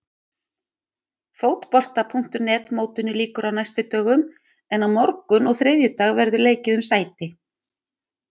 Fótbolta.net mótinu lýkur á næstu dögum en á morgun og þriðjudag verður leikið um sæti.